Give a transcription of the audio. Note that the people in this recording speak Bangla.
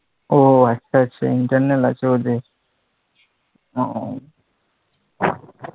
ও আচ্ছা আচ্ছা internal আছে ওদের ওহ